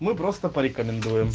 мы просто порекомендуем